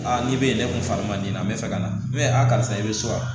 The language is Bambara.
n'i bɛ ne kun fari man di n na n bɛ fɛ ka na mɛn a karisa i bɛ so wa